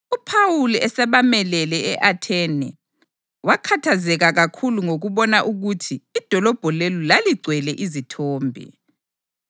UPhawuli esabamelele e-Athene, wakhathazeka kakhulu ngokubona ukuthi idolobho lelo laligcwele izithombe.